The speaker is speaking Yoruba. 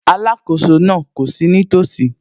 Alákóso náà kò sí nítòsí